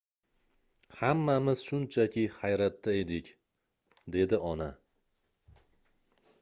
hammamiz shunchaki hayratda edik dedi ona